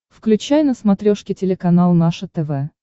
включай на смотрешке телеканал наше тв